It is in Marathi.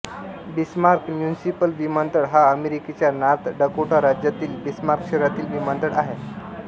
बिस्मार्क म्युनिसिपल विमानतळ हा अमेरिकेच्या नॉर्थ डकोटा राज्यातील बिस्मार्क शहरातील विमानतळ आहे